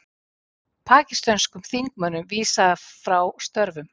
Pakistönskum þingmönnum vísað frá störfum